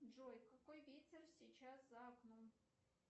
джой какой ветер сейчас за окном